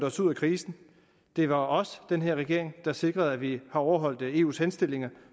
os ud af krisen det var os den her regering der sikrede at vi har overholdt eus henstillinger